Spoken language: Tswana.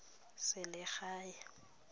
selegae